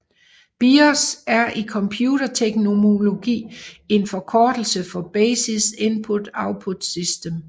BIOS er i computerterminologi en forkortelse for Basic Input Output System